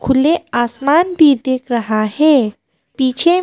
खुले आसमान भी देख रहा है पीछे में--